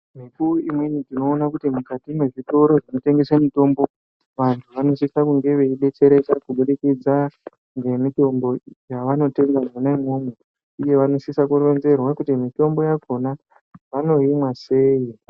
Mikuwo imweni tinoona kuti mukati mwezvitoro zvinotengese mitombo vantu vanosisa kunge veidetsereka kubudikidza ngemitombo yavanotenga mwona imwomwo. Uye vanosisa kuronzerwa kuti mitombo yakona vanoimwa sei.